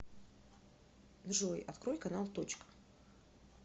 джой открой канал точка